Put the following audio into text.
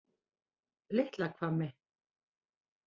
Litlahvammi